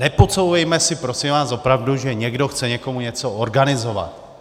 Nepodsouvejme si prosím vás opravdu, že někdo chce někomu něco organizovat.